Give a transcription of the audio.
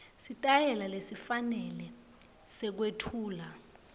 sitayela lesifanele sekwetfula